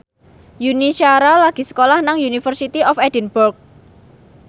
Yuni Shara lagi sekolah nang University of Edinburgh